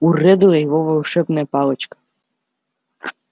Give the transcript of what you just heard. у реддла его волшебная палочка